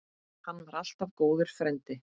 Hann var alltaf góður frændi.